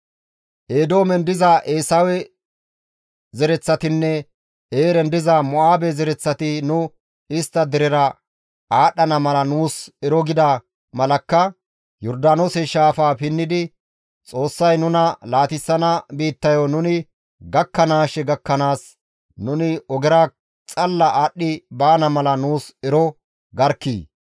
Eedoomen diza Eesawe zereththatinne Eeren diza Mo7aabe zereththati nu istta derera aadhdhana mala nuus ero gida malakka Yordaanoose shaafaa pinnidi Xoossay nuna laatissana biittayo nuni gakkanaashe gakkanaas nuni ogera xalla aadhdhi baana mala nuus ero garkkii!»